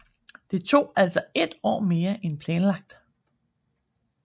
Det tog altså ét år mere end planlagt